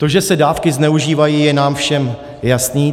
To, že se dávky zneužívají, je nám všem jasné.